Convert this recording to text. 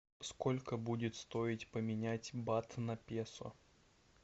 сколько будет стоить поменять бат на песо